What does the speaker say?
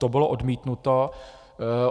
To bylo odmítnuto.